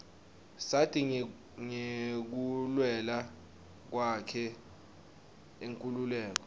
sati ngekulwela kwakhe inkhululeko